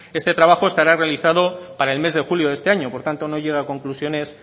este trabajo estará realizado para el mes de julio de este año por tanto no llegue a conclusiones